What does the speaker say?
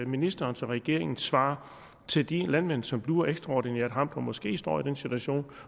ministerens og regeringens svar til de landmænd som bliver ekstraordinært ramt og måske står i den situation